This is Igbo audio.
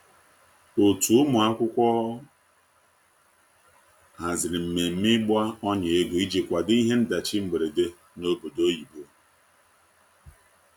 otu ụmụakwụkwọ haziri mmeme igba ọnya ego ịjị kwado ihe ndachi mgberede n'obodo oyibo